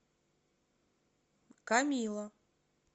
камила